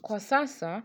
Kwa sasa